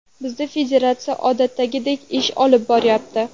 Bizda federatsiya odatdagidek ish olib boryapti.